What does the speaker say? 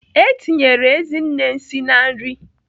Etinyere Ezinne nsị na nri.